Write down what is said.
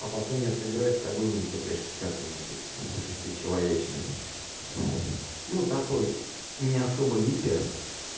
а потом я сыграю с тобой в нттшки какую-нибудь шести человечной ну такой не особо гипер